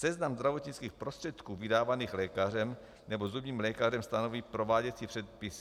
Seznam zdravotnických prostředků vydávaných lékařem nebo zubním lékařem stanoví prováděcí předpis.